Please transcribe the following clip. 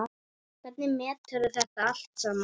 Hvernig meturðu þetta allt saman?